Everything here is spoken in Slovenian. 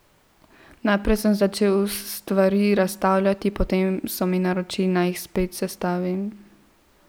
Najprej sem začel stvari razstavljati, potem so mi naročili, naj jih spet sestavim.